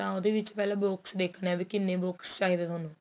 ਤਾ ਉਹਦੇ ਵਿੱਚ ਪਹਿਲਾਂ box ਦੇਖਣੇ ਏ ਵੀ ਕਿੰਨੇ box ਚਾਹੀਦੇ ਹੈ ਤੁਹਾਨੂੰ